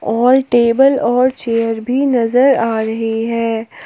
और टेबल और चेयर भी नजर आ रही है।